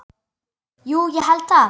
Jú ég held það.